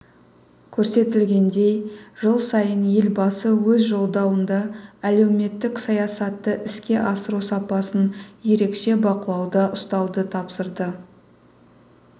көрсетілгендей жыл сайын елбасы өз жолдауында әлеуметтік саясатты іске асыру сапасын ерекше бақылауда ұстауды тапсырады